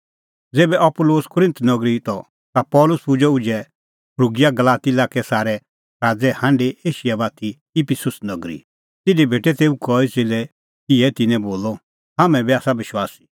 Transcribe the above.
ज़ेभै Apollos Corinth नगरी त ता पल़सी पुजअ उझै फ्रूगिआ गलाती लाक्कै सारै सराज़ै हांढी एशिया बाती इफिसुस नगरी तिधी भेटे तेऊ कई च़ेल्लै इहै तिन्नैं बोलअ हाम्हैं बी आसा विश्वासी